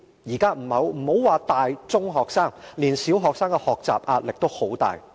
現在不要說是大、中學生，連小學生的學習壓力也很大。